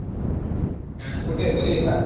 कुठे घरी आहे का?